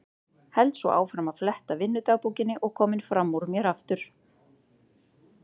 Held svo áfram að fletta vinnudagbókinni og kominn fram úr mér aftur.